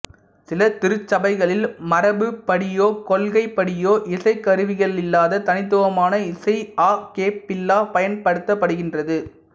சில திருச்சபைகளில் மரபுப்படியோ கொள்கைப்படியோ இசைக்கருவிகளில்லாத தனித்துவமான இசை அ கேப்பெல்லா பயன்படுத்தப்படுகின்றது